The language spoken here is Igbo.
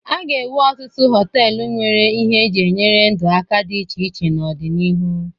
A ga-ewu ọtụtụ họtelụ nwere ihe e ji enyere ndụ aka dị iche iche n'ọdịnihu.